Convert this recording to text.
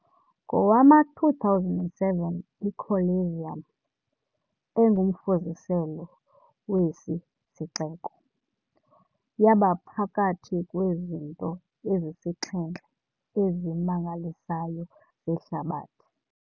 Ngowama-2007 iColosseum, engumfuziselo wesi sixeko, yaba phakathi kwezinto ezisixhenxe ezimangalisayo zehlabathi.